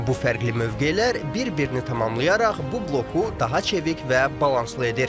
Bu fərqli mövqelər bir-birini tamamlayaraq bu bloku daha çevik və balanslı edir.